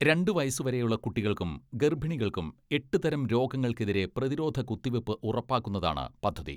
രണ്ടു വയസ്സുവരെയുള്ള കുട്ടികൾക്കും ഗർഭിണികൾക്കും എട്ട് തരം രോഗങ്ങൾക്കെതിരെ പ്രതിരോധ കുത്തിവെപ്പ് ഉറപ്പാക്കുന്നതാണ് പദ്ധതി.